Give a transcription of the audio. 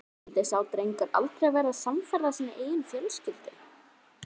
Skyldi sá drengur aldrei verða samferða sinni eigin fjölskyldu?